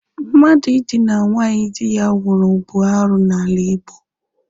Mmadụ ịdịna nwaanyị dị ya nwụrụ bụ arụ n'ala Igbo.